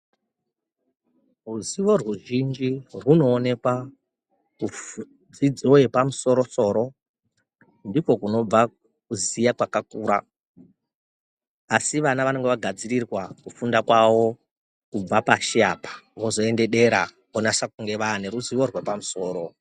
Ruzivo rwu zhinji rwuno onekwa ku dzidzo yepa musoro soro ndiko kunobva kuziya kwakakura asi vana vanonga va gadzirirwa kufunda kwavo kubva pashi apa vozoende dera vonasa kunge vane ruzivo rwepa musoro.